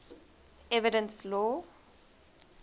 evidence law